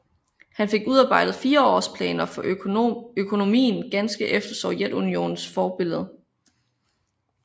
Han fik udarbejdet fireårsplaner for økonomien ganske efter Sovjetunionens forbillede